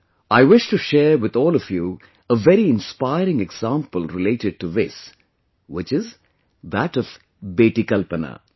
I wish to share with all of you a very inspiring example related to this, which is that of beti Kalpana,